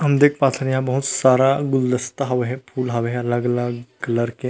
हम देख पाथन यहाँ बहुत सारा गुलदस्ता हवे हे फूल हवे हे अलग-अलग कलर के--